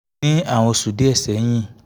ní àwọn oṣù díẹ̀ sẹ́yìn